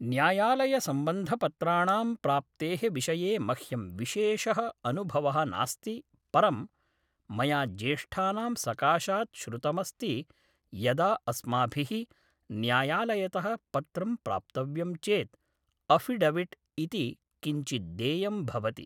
न्यायालयसम्बन्धपत्राणां प्राप्तेः विषये मह्यं विशेष अनुभव: नास्ति परं मया ज्येष्ठानां सकाशात् श्रुतमस्ति यदा अस्माभिः न्यायालयतः पत्रं प्राप्तव्यं चेत् अफ़िडविट्‌ इति किञ्चित्‌ देयं भवति